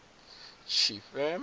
tshifhe